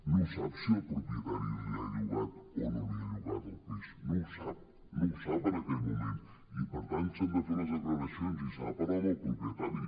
no sap si el propietari li ha llogat o no li ha llogat el pis no ho sap no ho sap en aquell moment i per tant s’han de fer les declaracions i s’ha de parlar amb el propietari